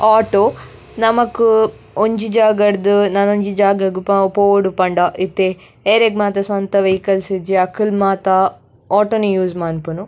Auto ನಮಕ್ ಒಂಜಿ ಜಾಗಡ್ದ್ ನನೊಂಜಿ ಜಾಗಗ್ ಪೋವೊಡು ಪಂಡ ಇತ್ತೆ ಎರೆಗ್ ಮಾತ ಸ್ವಂತ ವೈಕಲ್ಸ್ ಇಜ್ಜಿ ಅಕುಲು ಮಾತ ಆಟೊ ನೆ ಯೂಸ್ ಮನ್ಪುನು.